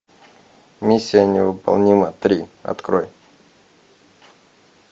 миссия невыполнима три открой